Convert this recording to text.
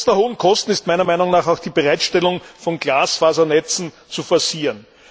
Trotz der hohen Kosten ist meiner Meinung nach auch die Bereitstellung von Glasfasernetzen zu forcieren.